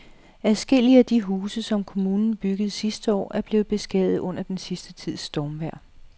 Adskillige af de huse, som kommunen byggede sidste år, er blevet beskadiget under den sidste tids stormvejr.